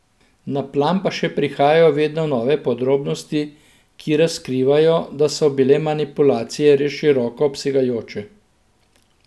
Na plan pa še prihajajo vedno nove podrobnosti, ki razkrivajo, da so bile manipulacije res široko obsegajoče.